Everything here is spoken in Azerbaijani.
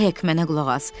Hek, mənə qulaq as.